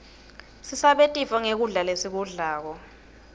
sisabe tifo nqgkudla lesikublako